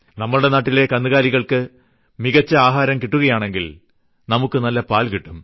നമ്മുടെ നാട്ടിലെ കന്നുകാലികൾക്ക് മികച്ച ആഹാരം കിട്ടുകയാണെങ്കിൽ നമുക്ക് നല്ല പാൽ കിട്ടും